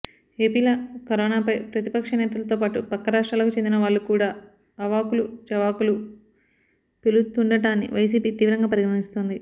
ఏపీలో కరోనాపై ప్రతిపక్ష నేతలతోపాటు పక్క రాష్ట్రాలకు చెందినవాళ్లు కూడా అవాకులు చెవాకులు పెలుతుండటాన్ని వైసీపీ తీవ్రంగా పరిగణిస్తోంది